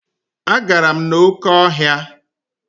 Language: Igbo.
Agara m n'oké ọhịa.